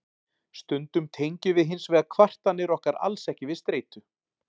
stundum tengjum við hins vegar kvartanir okkar alls ekki við streitu